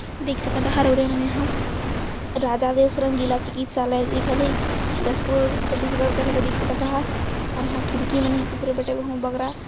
देख सकत हे एने हर ये ह राधा देश रंगीला चिकित्सालय लिखल हे जशपुर छत्तीसगढ़ कथे क देख सकत ह अउर खिड़की मन हे बग--